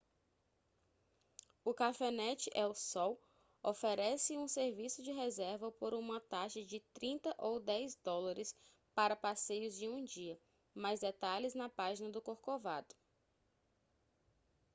o cafenet el sol oferece um serviço de reserva por uma taxa de 30 ou 10 dólares para passeios de um dia mais detalhes na página do corcovado